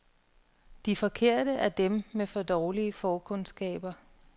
De forkerte er dem med for dårlige forkundskaber.